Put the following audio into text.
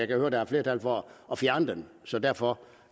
kan høre at der er flertal for at fjerne den så derfor